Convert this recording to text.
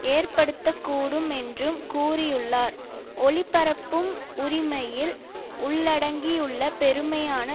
ஏற்படுத்த கூடும் என்றும் கூறியுள்ளார் ஒலிபரப்பும் உரிமையில் உள்ளடங்கியுள்ள பெருமையான